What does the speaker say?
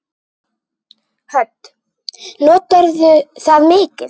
Hödd: Notarðu það mikið?